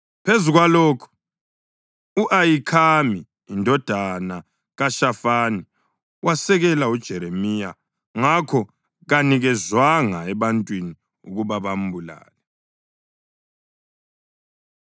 Phezu kwalokho, u-Ahikhami indodana kaShafani wasekela uJeremiya, ngakho kanikezwanga ebantwini ukuba bambulale.